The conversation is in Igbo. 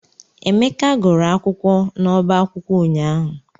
Emeka gụrụ akwụkwọ n'ọbá akwụkwọ ụnyaahụ.